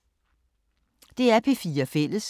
DR P4 Fælles